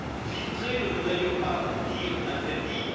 Filtrer ne veut d'ailleurs pas dire interdire.